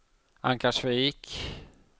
Ankarsvik